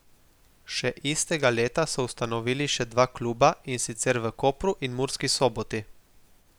Še istega leta so ustanovili še dva kluba, in sicer v Kopru in Murski Soboti.